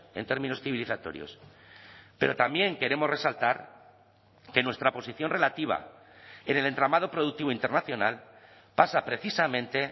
en términos civilizatorios pero también queremos resaltar que nuestra posición relativa en el entramado productivo internacional pasa precisamente